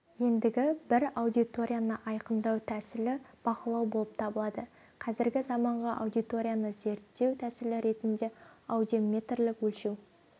ендігі бір аудиторияны айқындау тәсілі бақылау болып табылады қазіргі заманғы радиоаудиторияны зерттеу тәсілі ретінде аудиометрлік өлшеу